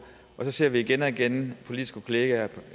og så ser vi igen og igen politiske kollegaer